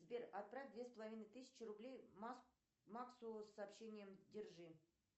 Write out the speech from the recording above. сбер отправь две с половиной тысячи рублей максу с сообщением держи